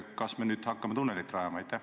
Kas me nüüd hakkame tunnelit rajama?